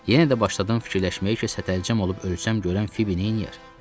Yenə də başladım fikirləşməyə ki, sətəlcəm olub ölsəm görən Fibi neyləyər?